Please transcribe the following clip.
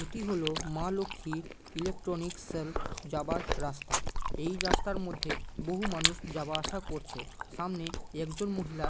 এটি হলো মা লক্ষ্মী ইলেকট্রনিক সেল যাবার রাস্তা এই রাস্তার মধ্যে বহু মানুষ যাওয়া আসা করছে সামনে একজন মহিলা--